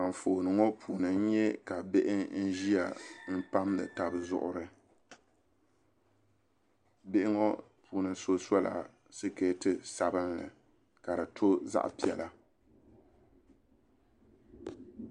Anfooni ŋo puuni n nyɛ ka bihi n ʒiya pamdi tabi zuɣuri bihi ŋo puuni so sola sikɛti sabinli ka di to zaɣ piɛla